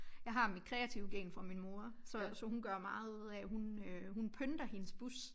Jeg har mit kreative gen fra min mor så så hun gør meget ud af hun øh hun pynter hendes bus